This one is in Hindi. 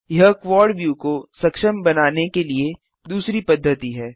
यह क्वाड व्यू को सक्षम बनाने के लिए दूसरी पद्धति है